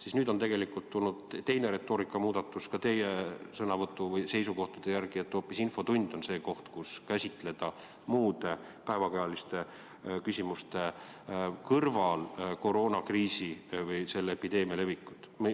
Aga nüüd on tegelikult tulnud teine retoorika ja muudatus ka teie seisukohtadesse – nüüd te ütlete, et hoopis infotund on see koht, kus käsitleda muude päevakajaliste küsimuste kõrval koroonakriisi ja epideemia levikut.